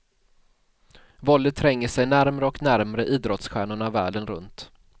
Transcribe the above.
Våldet tränger sig närmre och närmre idrottsstjärnorna världen runt.